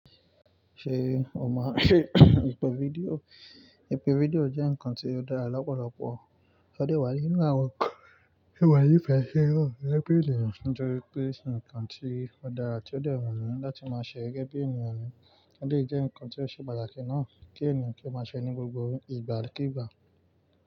Ṣé o maa n se ìpè fídíò? Ìpè fídíò jẹ́ ǹkan tí ó dára lọ́pọ̀lọpọ̀, ó de wá nínú àwon ǹkan tí mo ní fe si gẹ́gẹ́ ènìyàn, nítorí pé ǹkan tí ó dára ti ó de wumi láti máa ṣẹ gẹ́gẹ́ bí ènìyàn ni. Ó dejẹ́ ǹkan tí ó ṣe pàtàkì náà kí ènìyàn kí ó máa ṣẹ ní gbogbo ìgbàkìigbà.